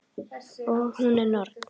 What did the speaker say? Og hún er norn.